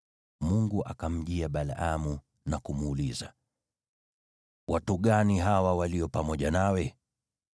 Mungu akamjia Balaamu na kumuuliza, “Watu gani hawa walio pamoja nawe?”